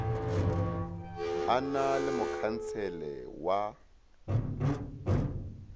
e na le mokhansele wa